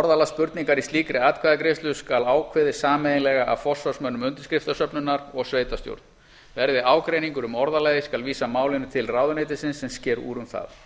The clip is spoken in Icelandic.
orðalag spurningar í slíkri atkvæðagreiðslu skal ákveðið sameiginlega af forsvarsmönnum undirskriftasöfnunarinnar og sveitarstjórn verði ágreiningur um orðalagið skal vísa málinu til ráðuneytisins sem sker úr um það